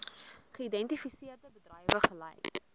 geïdentifiseerde bedrywe gelys